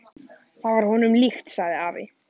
Það var honum líkt, sagði afi.